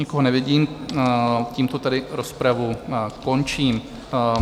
Nikoho nevidím, tímto tedy rozpravu končím.